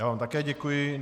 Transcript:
Já vám také děkuji.